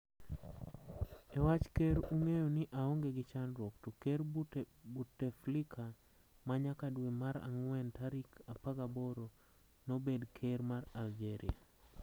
E wach ker ung'eyo ni aonge gi chandruok. to ker Buteflika ma nyaka dwe mar ang'wen tarik 18 no bed ker mar Algeria.